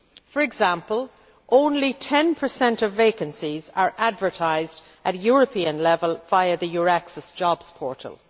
For example, only 10 of vacancies are advertised at European level via the EURAXESS jobs portal.